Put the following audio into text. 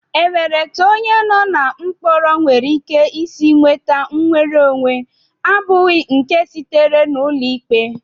E nwere etu onye no na mkpọrọ nwereike isi nweta nnwereonwe abụghị nke sitere n'ụlọikpe?